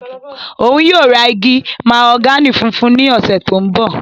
Oun yóò ra igi mahogani funfun ni ọsẹ to nbọ.